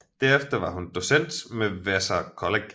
Derefter var hun docent ved Vassar College